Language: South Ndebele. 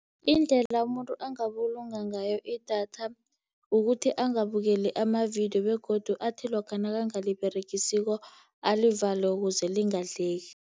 Indlela umuntu angabulunga ngayo idatha ukuthi angabukeli amavidiyo, begodu athi lokha nakangaliberegisiko alivale ukuze lingadleki.